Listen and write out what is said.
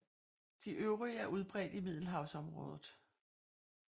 De øvrige er udbredt i Middelhavsområdet